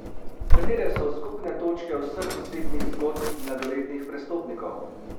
Katere so skupne točke vseh osebnih zgodb mladoletnih prestopnikov?